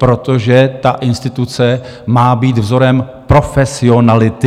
Protože ta instituce má být vzorem profesionality.